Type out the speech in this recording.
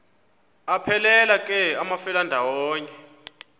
aphelela ke amafelandawonye